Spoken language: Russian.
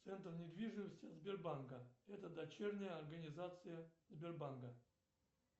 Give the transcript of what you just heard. центр недвижимости сбербанка это дочерняя организация сбербанка